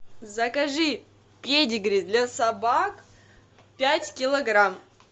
закажи педигри для собак пять килограмм